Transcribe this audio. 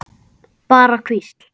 Bara hvísl.